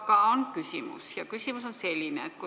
Aga mul on küsimus ja see on selline.